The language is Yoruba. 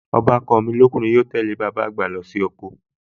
Ọbàkan mi lọ́kùnrin yóò tẹ́lẹ̀ bàbá àgbà lọ sí oko